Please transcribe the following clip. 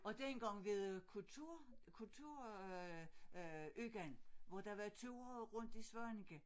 Og dengang ved kultur kultur øh øh ugen hvor der var ture rundt i Svaneke